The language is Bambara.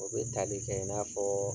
O bɛ tali kɛ i n'a fɔ